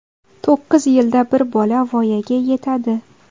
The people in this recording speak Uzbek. To‘qqiz yilda bir bola voyaga yetadi.